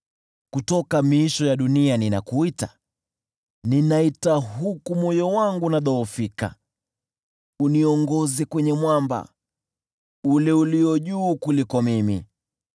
Kutoka miisho ya dunia ninakuita, ninaita huku moyo wangu unadhoofika; uniongoze kwenye mwamba ule ulio juu kuliko mimi.